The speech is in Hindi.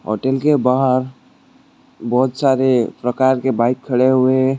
होटल के बाहर बहोत सारे प्रकार के बाइक खड़े हुए है।